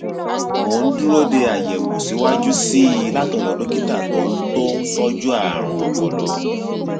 mo ń dúró de àyẹwò síwájú sí i látọdọ dókítà tó ń tó ń tọjú àrùn ọpọlọ